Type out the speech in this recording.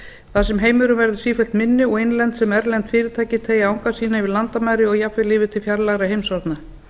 þar sem heimurinn verður sífellt minni og innlend og erlend fyrirtæki teygja anga sína yfir landamæri og jafnvel yfir til fjarlægra heimshorna